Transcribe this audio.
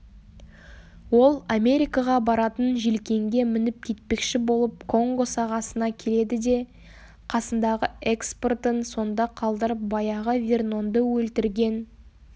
ол америкаға баратын желкенге мініп кетпекші болып конго сағасына келеді де қасындағы экспортын сонда қалдырып баяғы вернонды өлтірген